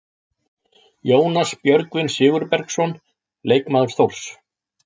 Jónas Björgvin Sigurbergsson, leikmaður Þórs.